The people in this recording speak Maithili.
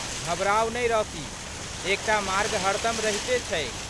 घबराऊ नहि, रॉकी। एकटा मार्ग हरदम रहिते छैक।